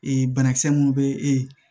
banakisɛ mun be e ye